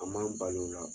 A man bali o la